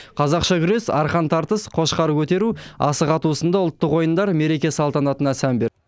қазақша күрес арқан тартыс қошқар көтеру асық ату сынды ұлттық ойындар мереке салтанатына сән берді